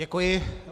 Děkuji.